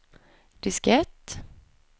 diskett